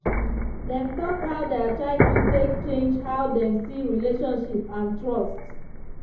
dem talk how their childhood take change how dem see relationships and trust.